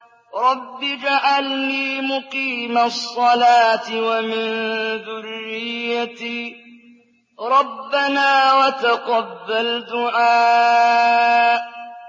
رَبِّ اجْعَلْنِي مُقِيمَ الصَّلَاةِ وَمِن ذُرِّيَّتِي ۚ رَبَّنَا وَتَقَبَّلْ دُعَاءِ